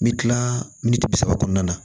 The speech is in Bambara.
N bɛ kila miniti bi saba kɔnɔna na